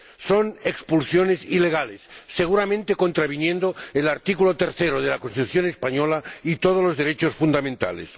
Son expulsiones ilegales, seguramente contraviniendo el artículo tercero de la Constitución española y todos los derechos fundamentales.